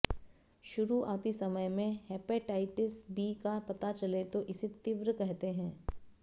शुरुआती समय में हेपेटाइटिस बी का पता चले तो इसे तीव्र कहते हैं